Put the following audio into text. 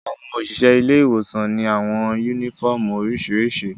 Awọn oṣiṣẹ ile-iwosan ni awọn uniƒọmú oriṣiriṣi.